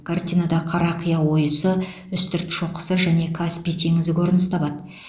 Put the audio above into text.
картинада қарақия ойысы үстірт шоқысы және каспий теңізі көрініс табады